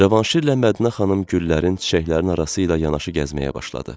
Cavanşirlə Mədinə xanım güllərin, çiçəklərin arasıyla yanaşı gəzməyə başladı.